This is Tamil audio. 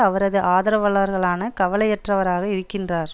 அவரது ஆதரவாளர்களான கவலையற்றவராக இருக்கின்றார்